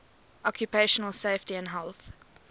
occupational safety and health